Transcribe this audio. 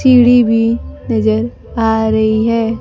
सीढ़ी भी नजर आ रही है।